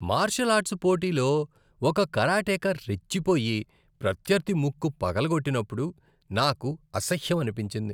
Martial arts పోటీలో ఒక కరాటేకా రెచ్చిపోయి, ప్రత్యర్థి ముక్కు పగలగొట్టినప్పుడు నాకు అసహ్యం అనిపించింది.